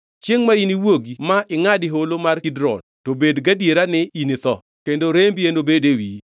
Chiengʼ ma iniwuogi ma ingʼadi Holo mar Kidron, to bed gadiera ni initho; kendo rembi enobed e wiyi.